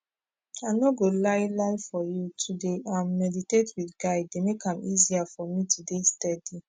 i no go lie lie for you to dey um medidate wit guide dey make am easier for me to dey steadi